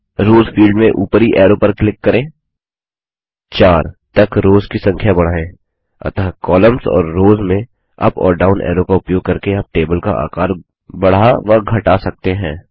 Ross field में ऊपरी arrow पर क्लिक करें 4 तक रॉस की संख्या बढ़ाएँ अतः कोलम्न्स और रॉस में अप और डाउन ऐरो का उपयोग करके आप टेबल का आकार बढ़ा व घटा सकते हैं